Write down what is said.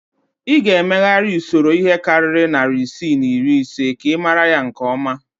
Ị ga-emegharị usoro ihe karịrị narị isii na iri ise ka ị mara ya nke ọma